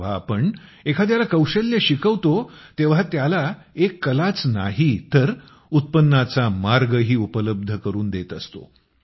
जेव्हा आम्ही एखाद्याला कौशल्य शिकवतो तेव्हा त्याला त्याला एक हुनरच नाही तर उत्पन्नाचा मार्ग उपलब्ध करून देत असतो